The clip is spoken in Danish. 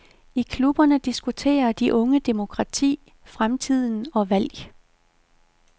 I klubberne diskuterer de unge demokrati, fremtiden og valg.